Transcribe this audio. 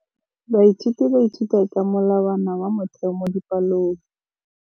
Baithuti ba ithuta ka molawana wa motheo mo dipalong.